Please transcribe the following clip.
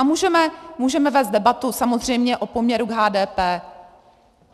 A můžeme vést debatu samozřejmě o poměru k HDP.